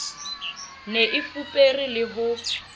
ne e fupere le ho